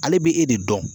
Ale bɛ e de dɔn